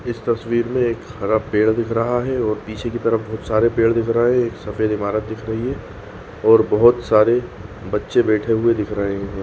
इस तस्वीर में एक हरा पेड़ दिख रहा है और पीछे की तरफ बहुत सारे पेड़ दिख रहे है एक सफ़ेद इमारत दिख रही है और बहुत सारे बच्चे बैठे हुए दिख रहे है।